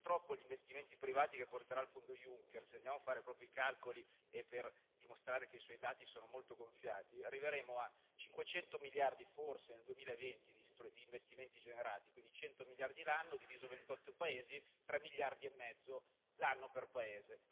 Purtroppo gli investimenti privati che porterà il fondo Juncker, se andiamo a fare proprio i calcoli per dimostrare che i suoi dati sono molto gonfiati, arriveremo a 500 miliardi forse, nel 2020, di investimenti generati, quindi 100 miliardi l'anno, diviso 28 paesi tre miliardi e mezzo l'anno per paese.